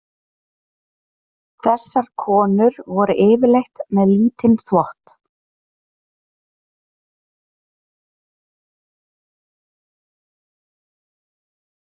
Þessar konur voru yfirleitt með lítinn þvott.